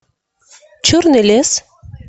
черный лес